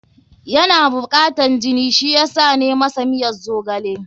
Yana bukatan jini, shi yasa na masa miyan zogale.